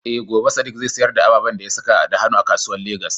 Eh, gobe Sadiq zai sayar da ababen da ya saka da hannu a kasuwan Legas.